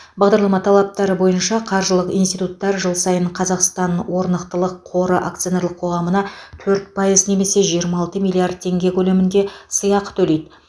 бағдарлама талаптары бойынша қаржылық институттар жыл сайын қазақстан орнықтылық қоры акционерлік қоғамына төрт пайыз немесе жиырма алты миллиард теңге теңге көлемінде сыйақы төлейді